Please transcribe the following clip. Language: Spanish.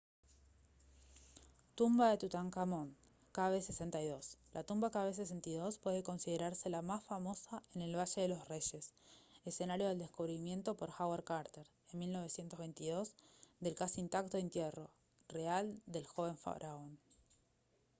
tumba de tutankamón kv62. la tumba kv62 puede considerarse la más famosa en el valle de los reyes escenario del descubrimiento por howard carter en 1922 del casi intacto entierro real del joven faraón